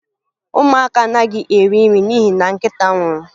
Ụmụaka anaghị eri nri n'ihi na nkịta nwụrụ